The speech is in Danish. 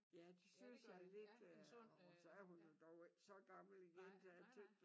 Ja det synes jeg lidt øh og så er hun jo dog ikke så gammel igen da jeg tænkte